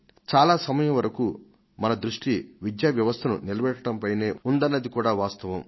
చాలా సమయం వరకు మన దృష్టి విద్యావ్యవస్థను నిలబెట్టడం పైనే ఉందన్నది కూడా వాస్తవం